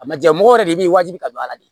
A ma ja mɔgɔ yɛrɛ de b'i wajibi ka don a la de